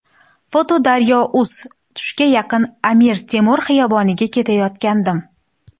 foto: daryo.uz Tushga yaqin Amir Temur xiyoboniga ketayotgandim.